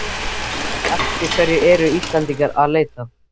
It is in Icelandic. En eftir hverju eru Íslendingar að leita?